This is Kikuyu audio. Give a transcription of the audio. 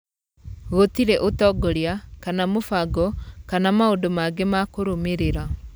Gũtirĩ ũtongoria, kana mũbango, kana maũndũ mangĩ makũrũmĩrĩra.